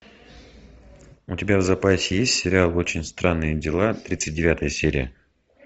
у тебя в запасе есть сериал очень странные дела тридцать девятая серия